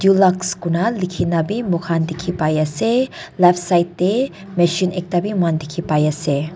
lux kurina likina bi moikan diki pai asae left side dae machine ekta bi diki pai asae.